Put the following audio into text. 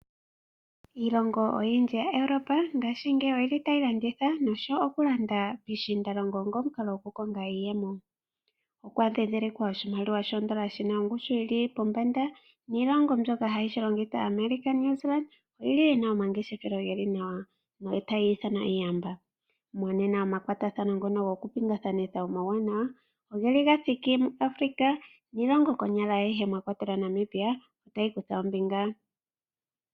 Iilongo oyindji yaEuropa ngaashingeyi otayi landitha nosowo okulanda piishiindalongo onga omukalo gokukonga iiyemo. Okwa dhindhilikwa oshimaliwa shodola shi na ongushu yi li pombanda niilongo mbyoka hayi shi longitha ngaashi America naNew Zealand oyi na omangeshefelo ge li nawa notayi ithanwa iiyamba. Monene omakwatathano ngono gokupingakanitha omauwanawa oga thiki muAfrika nilongo ayihe konyala mwa kwatelwa Namibia otayi kutha ombinga.